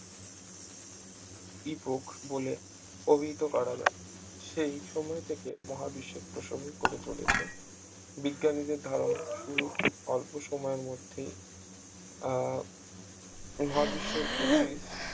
epoch বলে অভিহিত করা যায় সেই সময় থেকে মহাবিশ্বের প্রসঙ্গে করে চলেছে বিজ্ঞানীদের ধারণা শুরুর খুব অল্প সময়ের মধ্যেই আহ মহাবিশ্বের প্রতি